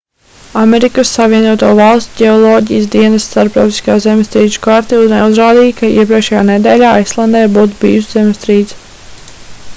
amerikas savienoto valstu ģeoloģijas dienesta starptautiskā zemestrīču karte neuzrādīja ka iepriekšējā nedēļā islandē būtu bijusi zemestrīce